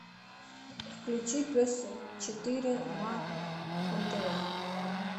включи пес четыре на нтв